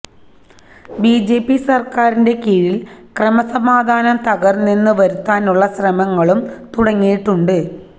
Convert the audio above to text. BJP സര്ക്കാരിന്റെ കീഴില് ക്രമസമാധാനം തകര്ന്നെന്ന് വരുത്താനുള്ള ശ്രമങ്ങളും തുടങ്ങിയിട്ടുണ്ട്